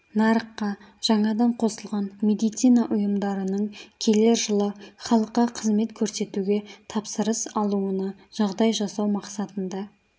нарыққа жаңадан қосылған медицина ұйымдарының келер жылы халыққа қызмет көрсетуге тапсырыс алуына жағдай жасау мақсатында